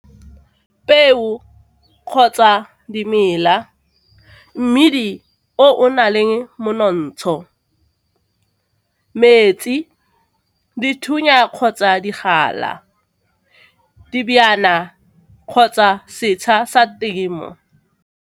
Peo kgotsa dimela, mmidi o o na leng montsho, metsi, dithunya kgotsa digala, dijana kgotsa setsha sa temo.